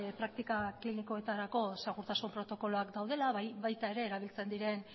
praktika klinikoetarako segurtasun protokoloak daudela baita ere erabiltzen diren